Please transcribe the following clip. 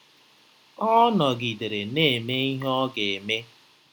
Ọ nọgidere na-eme ihe ọ ga-eme.